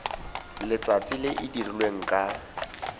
letsatsi le e dirilweng ka